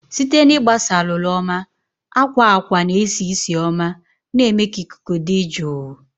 Site na ịgbasa alụlụ oma, akwa akwa na-esi ísì oma, na-eme ka ikuku dị jụụ.